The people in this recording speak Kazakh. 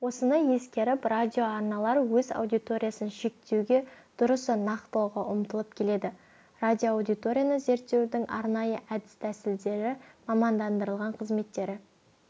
осыны ескеріп радиоарналар өз аудиториясын шектеуге дұрысы нақтылауға ұмтылып келеді радиоаудиторияны зерттеудің арнайы әдіс-тәсілдері мамандандырылған қызметтері